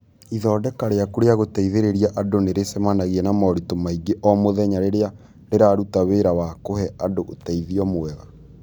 Ithondeka rĩaku rĩa gũteithĩrĩria andũ nĩ rĩcemanagia na moritũ maingĩ o mũthenya rĩrĩa rĩraruta wĩra wa kũhe andũ ũteithio mwega.